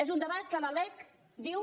és un debat que la lec diu